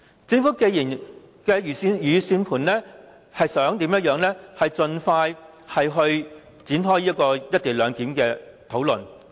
政府一直以來的如意算盤，就是要盡快展開"一地兩檢"的討論。